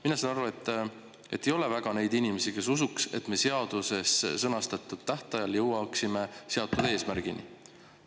Mina saan aru, et ei ole väga neid inimesi, kes usuks, et me seaduses sõnastatud tähtajal jõuaksime seatud eesmärgini.